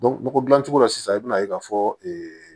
nɔgɔ dilan cogo la sisan i bɛna ye k'a fɔ ee